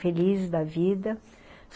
Feliz da vida.